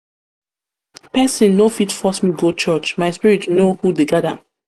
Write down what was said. pesin no fit force me go church my spirit know who dey guard am.